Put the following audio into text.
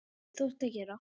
Þín dóttir, Hulda Karen.